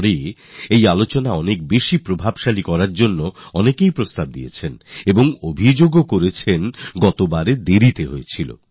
গত কর্মসূচির পর অনেক মানুষ একে প্রভাবশালী করার জন্য নিজেদের পরামর্শ পাঠিয়েছেনার অভিযোগও জানিয়েছেন যে গতবার দেরিতে হয়েছে